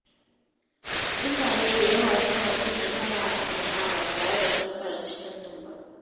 Mutane da yawa suna cin nasara a sana’a ba tare da sun karanci fannin ba.